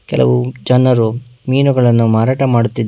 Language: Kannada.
ಕೆಲವು ಜನರು ಮೀನುಗಳನ್ನು ಮಾರಾಟ ಮಾಡುತ್ತಿದ್ದ--